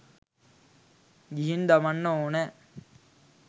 ගිහින් දමන්න ඕනෑ